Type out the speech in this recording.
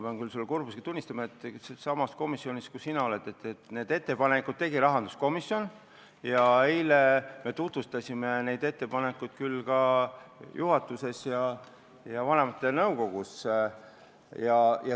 Aga ma pean sulle kurbusega tunnistama, et need ettepanekud tegi sama komisjon, kus sina oled, rahanduskomisjon, ja eile me tutvustasime neid ettepanekuid ka juhatuses ja vanemate nõukogus.